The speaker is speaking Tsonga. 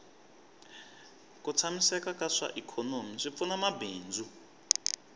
ku tshamiseka ka swa ikhonomi swi pfuna mabindzu